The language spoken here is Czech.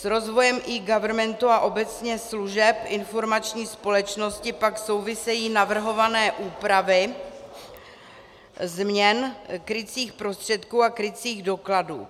S rozvojem eGovernmentu a obecně služeb informační společnosti pak souvisejí navrhované úpravy změn krycích prostředků a krycích dokladů.